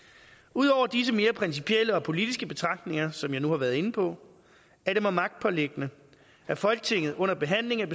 ud over disse mere principielle og politiske betragtninger som jeg nu har været inde på er det mig magtpåliggende at folketinget under behandlingen